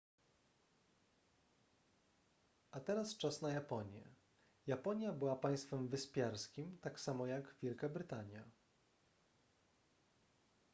a teraz czas na japonię japonia była państwem wyspiarskim tak samo jak wielka brytania